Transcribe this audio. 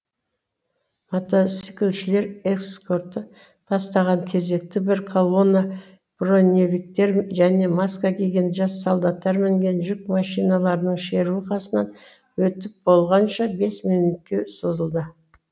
мотоциклшілер эскорты бастаған кезекті бір колонна броневиктер және маска киген жас солдаттар мінген жүк машиналарының шеруі қасынан өтіп болғанша бес минөтке созылды